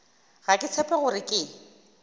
ga ke tshepe gore ke